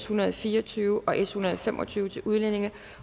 hundrede og fire og tyve og s en hundrede og fem og tyve til udlændinge